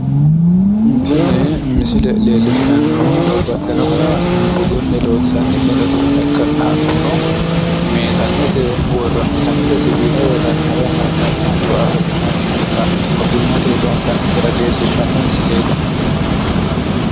Tini misile leellishshannohu babbaxxinoha budunni loonsanni mini uduunne ikkanna hakkuno meesanete siwiila worranniha woyi amandanniha cuaho yinanni haqqa ogimmateyi loonsanni gara leellishshanno misileeti.